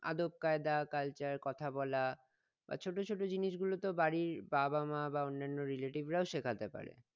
আদবকায়দা culture কথা বলা বা ছোট ছোট জিনিসগুলো তো বাড়ির বাবা মা বা অন্যান্য relative রাও শেখাতে পারে